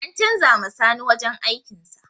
An canza ma sani wajen aikin sa